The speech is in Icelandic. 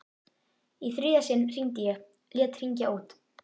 Í þriðja sinn hringdi ég, lét hringja út.